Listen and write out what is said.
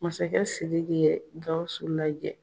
Masakɛ Sidiki ye Gawusu lajɛ.